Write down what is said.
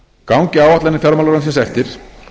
gangi áætlanir fjármálaráðuneytisins eftir